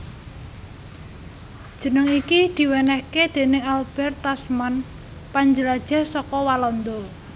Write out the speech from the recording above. Jeneng iki diwènèhké déning Albert Tasman panjelajah saka Walanda